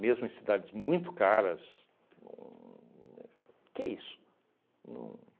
mesmo em cidades muito caras, uhm o que é isso? Não